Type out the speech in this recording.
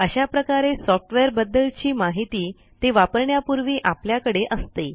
अशा प्रकारे सॉफ्टवेअरबद्दलची माहिती ते वापरण्यापूर्वी आपल्याकडे असते